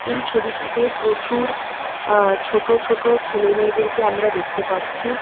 এই ছবিটিতে প্রচুর আ ছোট ছোট ছেলে মেয়েদেরকে আমরা দেখতে পাচ্ছি।